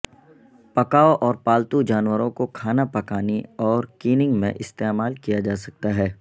پکاو اور پالتو جانوروں کو کھانا پکانے اور کیننگ میں استعمال کیا جا سکتا ہے